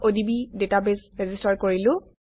odb database register কৰিলো